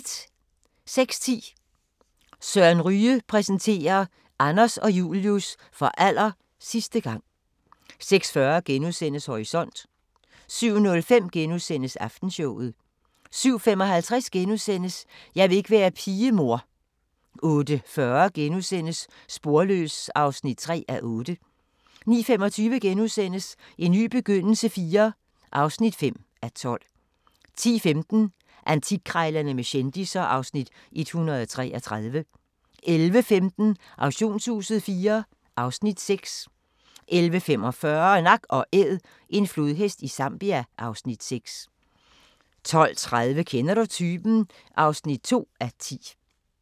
06:10: Søren Ryge præsenterer: Anders og Julius – for aller sidste gang 06:40: Horisont * 07:05: Aftenshowet * 07:55: Jeg vil ikke være pige, mor * 08:40: Sporløs (3:8)* 09:25: En ny begyndelse IV (5:12)* 10:15: Antikkrejlerne med kendisser (Afs. 133) 11:15: Auktionshuset IV (Afs. 6) 11:45: Nak & Æd – en flodhest i Zambia (Afs. 6) 12:30: Kender du typen? (2:10)